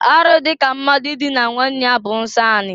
Arụ dị ka mmadụ idina nwanne ya bụ nsọ anị.